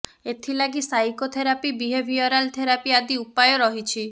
ଏଥିଲାଗି psychotherapy behavioural therapy ଆଦି ଉପାୟ ରହିଛି